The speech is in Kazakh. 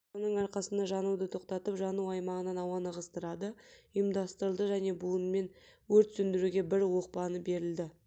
соның арқасында жануды тоқтатып жану аймағынан ауаны ығыстырады ұйымдастырылды және буынымен өрт сөндіруге бір оқпаны берілді